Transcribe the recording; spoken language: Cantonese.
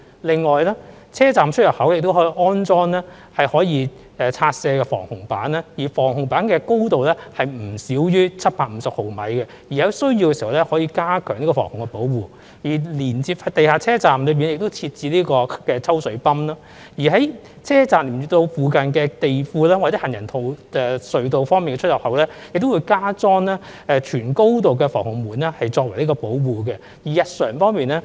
另外，車站出入口亦可以安裝可拆卸式防洪板，而防洪板的高度不少於750毫米，當有需要時，防洪板可作加強防洪保護用途；設於地下的車站，亦設有抽水泵；而連接地庫或行人隧道的車站出入口，亦會加裝全高度的防洪門作為保護。